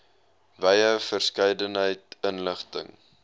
wye verskeidenheid inligting